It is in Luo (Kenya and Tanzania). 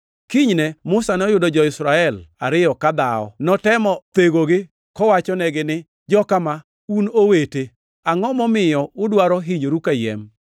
Kinyne Musa noyudo jo-Israel ariyo ka dhawo. Notemo thegogi kowachonegi ni, ‘Joka ma, un owete; angʼo momiyo udwaro hinyoru kayiem?’